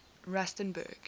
rustenburg